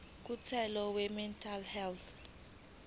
komthetho wemental health